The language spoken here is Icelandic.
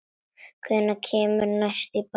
Hvenær kemurðu næst í bæinn?